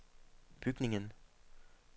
bygningen